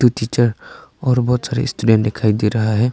ये टीचर और बहुत सारे स्टूडेंट दिखाई दे रहा है।